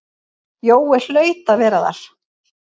Jói hlaut að vera þar.